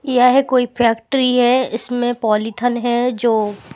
यह कोई फैक्ट्ररी है जिसमें कोई पॉलिथन है जो--